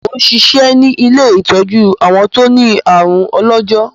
Mò ń ṣiṣẹ́ ní ilé ìtọ́jú àwọn tó ní àrùn ọlọ́jọ́.